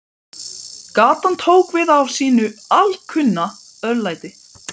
Gatan tók við af sínu alkunna örlæti.